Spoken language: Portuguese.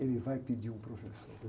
ele vai pedir um professor.